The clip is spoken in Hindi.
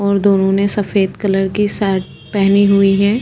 और दोनों ने सफ़ेद कलर की शर्ट पहनी हुई है।